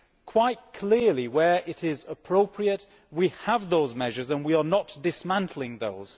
Quite clearly, where it is appropriate, we have those measures and we are not dismantling those.